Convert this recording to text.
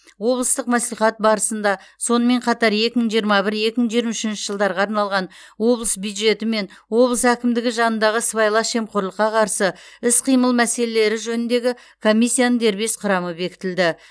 облыстық мәслихат барсында сонымен қатар екі мың жиырма бір екі мың жиырма үшінші жылдарға арналған облыс бюджеті мен облыс әкімдігі жанындағы сыбайлас жемқорлыққа қарсы іс қимыл мәселелері жөніндегі комиссияның дербес құрамы бекітілді